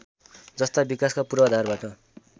जस्ता विकासका पूर्वाधारबाट